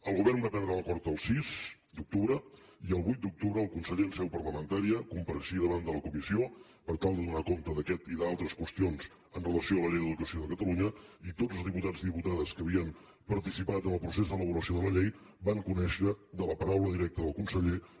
el govern va prendre l’acord el sis d’octubre i el vuit d’octubre el conseller en seu parlamentària compareixia davant de la comissió per tal de donar compte d’aquesta i d’altres qüestions amb relació a la llei d’educació de catalunya i tots els diputats i diputades que havien participat en el procés d’elaboració de la llei van conèixer de la paraula directa del conseller aquesta qüestió